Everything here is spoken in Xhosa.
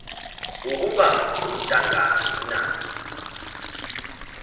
ukuba untangani na